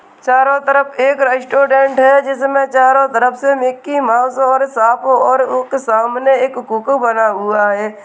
चारों तरफ एक रेस्टोरेंट है जिसमें चारों तरफ से मिकी माउस और सांप और ऊक सामने एक कुकु बना हुआ है।